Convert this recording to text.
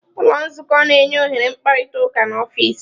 Ụlọ nzukọ na-enye ohere mkparịta ụka n'ọfịs.